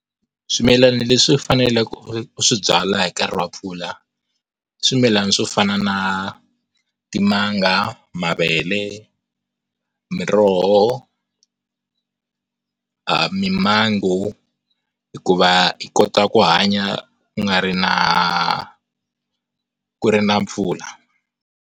Swimilana leswi u faneleke u swi byala hi nkarhi wa mpfula, i swimilana swo fana na timanga, mavele, miroho, aah mimango hikuva hi kota ku hanya ku nga ri na, ku ri na mpfula.